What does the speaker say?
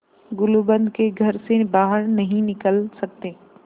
गुलूबंद के घर से बाहर नहीं निकल सकते